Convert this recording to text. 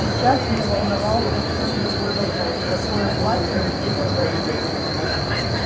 сейчас её волновал совсем другой вопрос какое платье надеть на барбекю